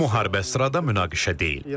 Bu müharibə sırada münaqişə deyil.